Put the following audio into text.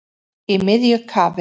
Í miðju kafi